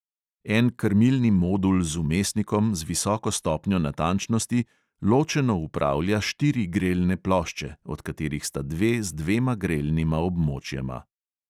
En krmilni modul z vmesnikom z visoko stopnjo natančnosti ločeno upravlja štiri grelne plošče, od katerih sta dve z dvema grelnima območjema.